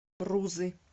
рузы